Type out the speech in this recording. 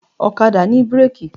Ọ̀kadà ní bírèkì.